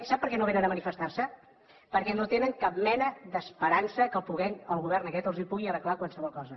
sap per què no vénen a manifestarse perquè no tenen cap mena d’esperança que el govern aquest els pugui arreglar qualsevol cosa